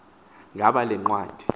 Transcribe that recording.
ngaba le ncwadi